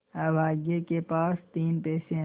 अभागे के पास तीन पैसे है